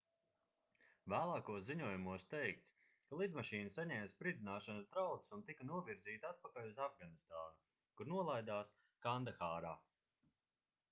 vēlākos ziņojumos teikts ka lidmašīna saņēma spridzināšanas draudus un tika novirzīta atpakaļ uz afganistānu kur nolaidās kandahārā